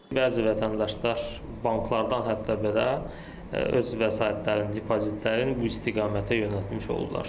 Bəzi vətəndaşlar banklardan hətta belə öz vəsaitlərin, depozitlərin bu istiqamətə yönəltmiş olurlar.